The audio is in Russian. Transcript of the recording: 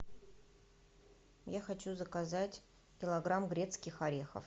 я хочу заказать килограмм грецких орехов